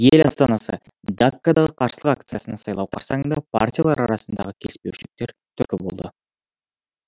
ел астанасы даккадағы қарсылық акциясына сайлау қарсаңында партиялар арасындағы келіспеушіліктер түрткі болды